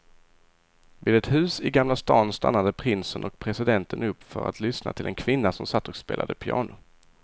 Vid ett hus i gamla stan stannade prinsen och presidenten upp för att lyssna till en kvinna som satt och spelade piano.